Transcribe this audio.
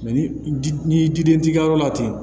ni ji ni ji den t'i ka yɔrɔ la ten